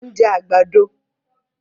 Mo ń jẹ àgbàdo